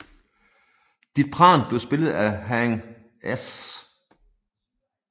Dith Pran blev spillet af Haing S